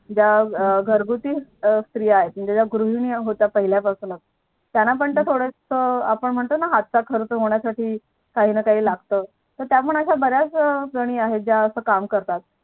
ज्या घरघुती स्त्रिया आहे म्हणजे ज्या गृहिणी होत्या पहिल्यापासूनच त्याना पण थोडासा अपाण म्हणतो ना हातचा खर्च होण्या साठी काहीं ना काही लागत मग त्या पण बऱ्याच जणी आहे असं काम करतात